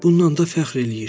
Bundan da fəxr eləyir.